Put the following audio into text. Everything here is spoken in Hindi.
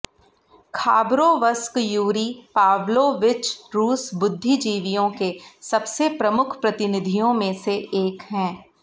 खाबरोवस्क यूरी पाव्लोविच रूस बुद्धिजीवियों के सबसे प्रमुख प्रतिनिधियों में से एक है